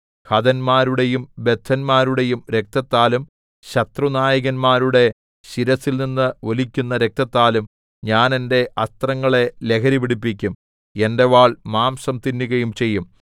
ഹതന്മാരുടെയും ബദ്ധന്മാരുടെയും രക്തത്താലും ശത്രുനായകന്മാരുടെ ശിരസ്സിൽനിന്ന് ഒലിക്കുന്ന രക്തത്താലും ഞാൻ എന്റെ അസ്ത്രങ്ങളെ ലഹരി പിടിപ്പിക്കും എന്റെ വാൾ മാംസം തിന്നുകയും ചെയ്യും